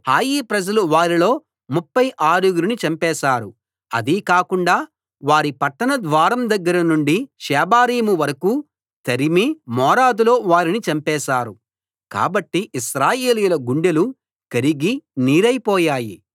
హాయి ప్రజలు వారిలో ముప్ఫై ఆరుగురిని చంపేశారు అదీ కాకుండా వారి పట్టణ ద్వారం దగ్గర నుండి షేబారీము వరకూ తరిమి మోరాదులో వారిని చంపేశారు కాబట్టి ఇశ్రాయేలీయుల గుండెలు కరిగి నీరైపోయాయి